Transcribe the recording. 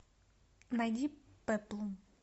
найди пеплум